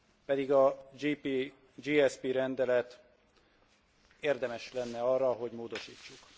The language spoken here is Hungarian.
Pedig a GSP rendelet érdemes lenne arra, hogy módosítsuk.